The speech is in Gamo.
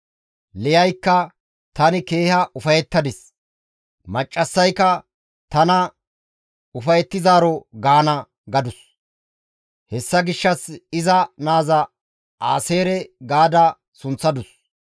Liyaykka, «Tani keeha ufayettadis! Maccassayka tana ufayettizaaro gaana» gadus; hessa gishshas iza naaza Aaseere ga sunththadus.